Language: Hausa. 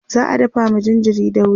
za'a dafa ma jinjirin dauri